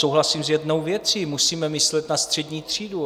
Souhlasím s jednou věcí, musíme myslet na střední třídu.